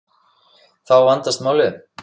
Þá vandast málið.